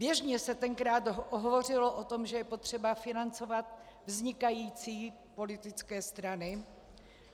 Běžně se tenkrát hovořilo o tom, že je potřeba financovat vznikající politické strany.